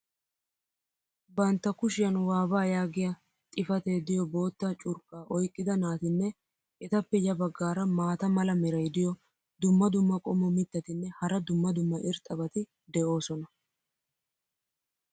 Bantta kushshiyan "WAVA" yaagiya xifatee diyo bootta curqqaa oyqqida naatinne etappe ya bagaara maata mala meray diyo dumma dumma qommo mitattinne hara dumma dumma irxxabati de'oosona.